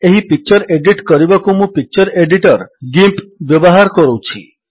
ଏହି picture edit କରିବାକୁ ମୁଁ ପିକଚର୍ ଏଡିଟର୍ ଗିମ୍ପ ବ୍ୟବହାର କରୁଛି